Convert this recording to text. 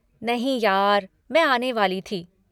नहीं यार, मैं आने वाली थी।